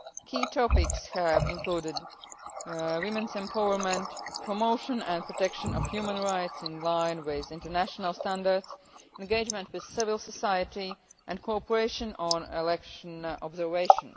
work. Key topics have included women's empowerment, promotion and protection of human rights in line with international standards, engagement with civil society and co operation on election observation.